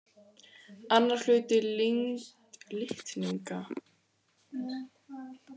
Annar hluti litningaparsins er kominn frá föður en hinn frá móður.